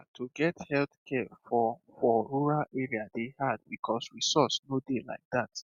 ah to get healthcare for for rural area dey hard because resource no dey like that